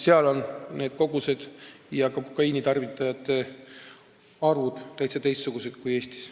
Seal on kogused ja kokaiinitarvitajate arv teistsugused kui Eestis.